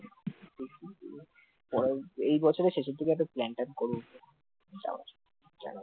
এই বছরের শেষের দিকে একটা plan ট্যান করব ভাবছি